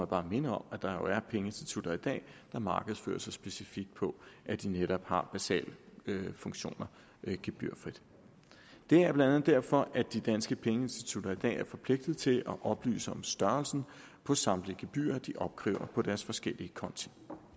bare minde om at der jo er pengeinstitutter i dag der markedsfører sig specifikt på at de netop har basale funktioner gebyrfrit det er blandt andet derfor at de danske pengeinstitutter i dag er forpligtet til at oplyse om størrelsen på samtlige gebyrer de opkræver på deres forskellige konti